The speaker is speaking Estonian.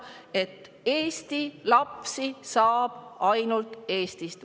–, et Eesti lapsi saab ainult Eestist.